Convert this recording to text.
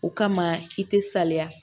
O kama i tɛ salaya